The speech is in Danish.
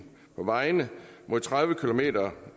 på vejene mod tredive kilometer